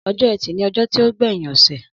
Ọjọ ẹtì ni ọjọ ti o gbẹyin ose.